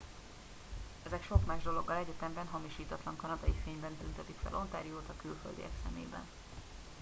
ezek sok más dologgal egyetemben hamisítatlan kanadai fényben tüntetik fel ontariót a külföldiek szemében